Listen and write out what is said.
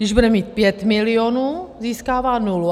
Když bude mít 5 milionů, získává nulu.